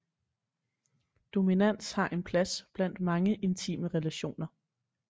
Dominans har en plads blandt mange intime relationer